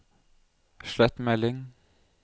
slett melding